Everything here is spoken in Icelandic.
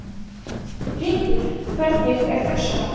Hringur, hvernig er dagskráin?